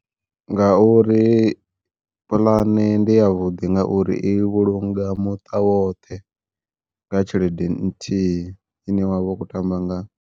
Ngauri puḽane ndi yavhuḓi ngauri i vhulunga muṱa woṱhe, nga tshelede nthihi ine wavha u kho tamba ngayo.